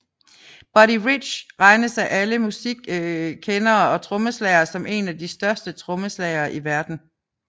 Buddy Rich regnes af alle musikkendere og trommeslagere som en af de største trommeslagere i verden